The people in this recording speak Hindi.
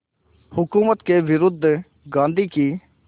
हुकूमत के विरुद्ध गांधी की